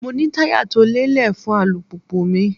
Mo ní táyà tó lélẹ̀ fún alùpùpù mi.